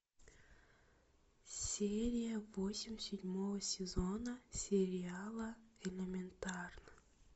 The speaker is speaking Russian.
серия восемь седьмого сезона сериала элементарно